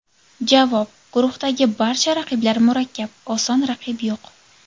Javob: Guruhdagi barcha raqiblar murakkab, oson raqib yo‘q.